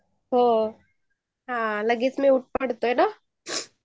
हो लगेच म्यूट पडतो ना